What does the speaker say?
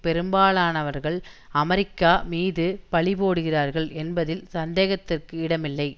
பெரும்பாலானவர்கள் அமெரிக்கா மீது பழிபோடுகிறார்கள் என்பதில் சந்தேகத்திற்கு இடமில்லை